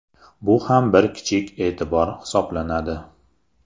Bu ham bir kichik e’tibor hisoblanadi.